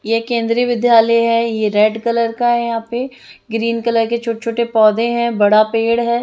ये केन्द्रीय विद्यालय है ये रेड कलर का है यहाँ पे ग्रीन कलर के छोटे-छोटे पौधे बड़ा पेड़ है।